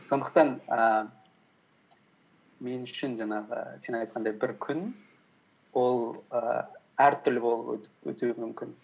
сондықтан ііі мен үшін жаңағы сен айтқандай бір күн ол і әртүрлі болып өтуі мүмкін